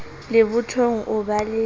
le bothong o ba le